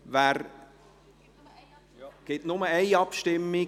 Es gibt nur eine Abstimmung.